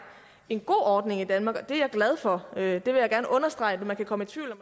en god ordning i danmark og den er jeg glad for det vil jeg gerne understrege for man kunne komme i tvivl